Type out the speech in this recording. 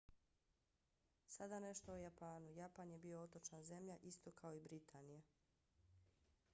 sada nešto o japanu. japan je bio otočna zemlja isto kao i britanija